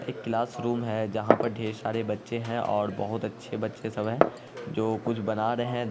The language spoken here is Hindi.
एक क्लासरूम है जहाँ पर बहुत सारे बच्चे हैं और बहुत अच्छे बच्चे सब हैं जो कुछ बना रहे हैं।